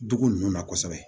Dugu ninnu na kosɛbɛ